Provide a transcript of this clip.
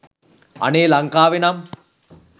අනේ ලංකාවෙනම්